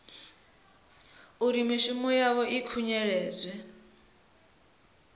uri mishumo yavho i khunyeledzwa